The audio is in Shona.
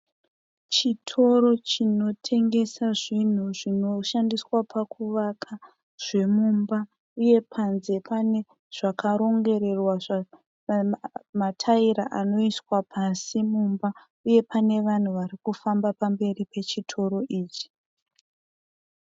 Chitoro chinotengeswa zvinhu zvinoshandiswa pakuvaka zvemumba uye panze pane zvakarongererwa mataira anoiswa pasi mumba. Uye pane vanhu varikufamba pamberi pechitoro ichi.